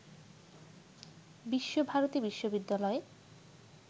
বিশ্ব ভারতী বিশ্ববিদ্যালয়ের